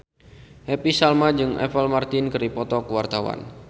Happy Salma jeung Apple Martin keur dipoto ku wartawan